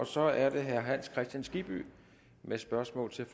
så er det herre hans kristian skibby med spørgsmål til